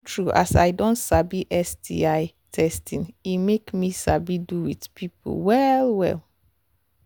true true as i don sabi sti testing e make me sabi do with people well well